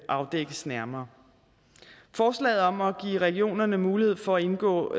afdækkes nærmere forslaget om at give regionerne mulighed for at indgå